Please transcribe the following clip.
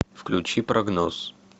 включи прогноз